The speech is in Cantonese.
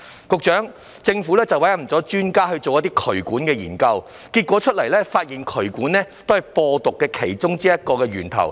局長，政府委任專家對渠管進行研究，結果發現渠管是其中一個播毒源頭。